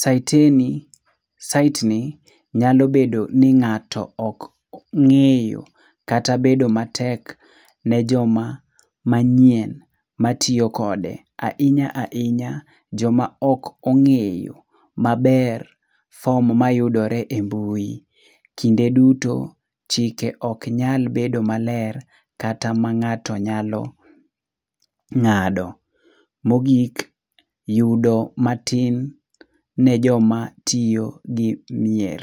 saiteni saitni nyalo bedo ni ng'ato ok ng'eyo kata bedo matek ne joma manyien matiyo kode. Ahinya ahinya joma ok ong'eyo maber form mayudore embui. Kinde duto chike ok nyal bedo maler, kata ma ng'ato nyalo ng'ado. Mogik, yudo matin ne joma tiyo gi mier.